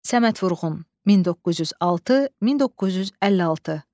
Səməd Vurğun, 1906-1956.